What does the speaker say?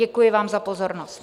Děkuji vám za pozornost.